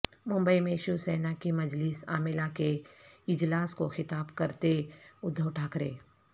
ممبئی میں شیو سینا کی مجلس عاملہ کے اجلاس کو خطاب کرتے ادھو ٹھاکرے